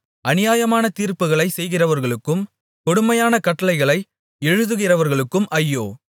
அநியாயமான தீர்ப்புகளைச் செய்கிறவர்களுக்கும் கொடுமையான கட்டளைகளை எழுதுகிறவர்களுக்கும் ஐயோ